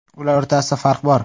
Ular o‘rtasida farq bor.